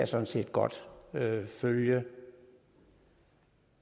sådan set godt følge